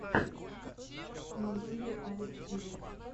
на ютьюбе алекс гивер